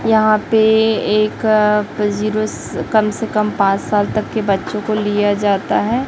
यहां पर एक अ जीरो कम से कम पांच साल तक के बच्चों को लिया जाता है।